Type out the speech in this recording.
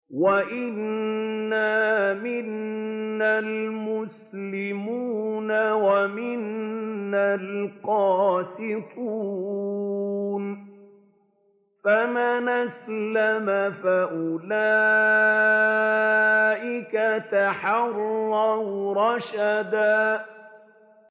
وَأَنَّا مِنَّا الْمُسْلِمُونَ وَمِنَّا الْقَاسِطُونَ ۖ فَمَنْ أَسْلَمَ فَأُولَٰئِكَ تَحَرَّوْا رَشَدًا